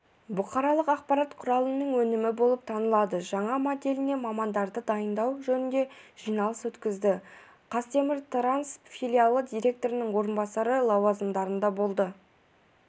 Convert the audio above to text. бұқаралық ақпарат құралының өнімі болып танылады жаңа моделіне мамандарды дайындау жөнінде жиналыс өткізді қазтеміртранс филиалы директорының орынбасары лауазымдарында болды